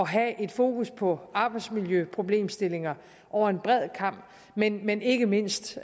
have et fokus på arbejdsmiljøproblemstillinger over en bred kam men men ikke mindst